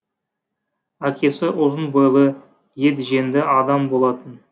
әкесі ұзын бойлы етжеңді адам болатын